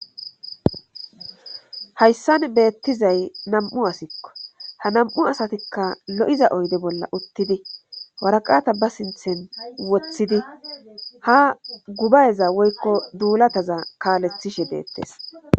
hayssan beettizay nam7u asikko ha nam7u asatikka lo7iza oyde bolla uttidi waraqata ba sinthen woththidi ha gubayeza woykko duulataza kaalethishe beettes